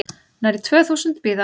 Nærri tvö þúsund bíða